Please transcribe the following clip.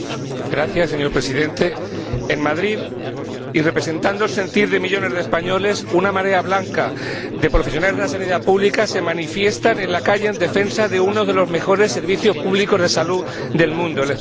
Señor Presidente, en Madrid, y representando el sentir de millones de españoles, una marea blanca de profesionales de la sanidad pública se manifiesta en la calle en defensa de uno de los mejores servicios públicos de salud del mundo, el español.